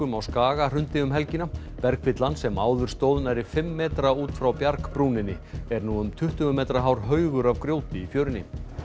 á Skaga hrundi um helgina bergfyllan sem áður stóð nærri fimm metra út frá bjargbrúninni er nú um tuttugu metra hár haugur af grjóti í fjörunni